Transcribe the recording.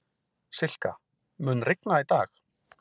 Silka, mun rigna í dag?